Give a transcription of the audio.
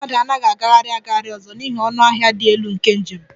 Ndị mmadụ anaghị agagharị agagharị ọzọ n'ihi ọnụ ahịa dị elu nke njem